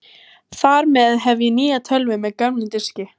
Þar með hef ég nýja tölvu með gömlum diski.